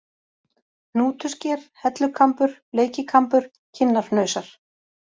Hnútusker, Hellukambur, Bleikikambur, Kinnarhnausar